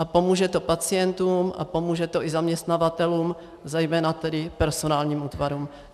A pomůže to pacientům a pomůže to i zaměstnavatelům, zejména tedy personálním útvarům.